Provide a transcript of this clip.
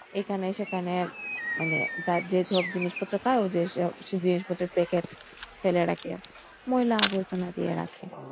এখানে সেখানে মানে যেসব জিনিসপত্র পায় ওদের সব জিনিসপত্র packet ফেলে রাখে । ময়লা আবর্জন দিয়ে রাখে।